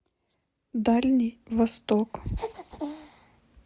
дальний восток